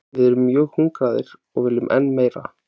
Við erum mjög hungraðir og viljum enn meira.